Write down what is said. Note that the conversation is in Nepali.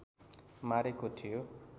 मारेको थियो